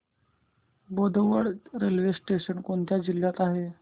Bodwad railway station कोणत्या जिल्ह्यात आहे